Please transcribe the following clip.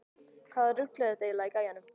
Hvaða rugl er þetta eiginlega í gæjanum?